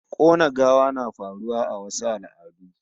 Kona gawa na faruwa a wasu al'adun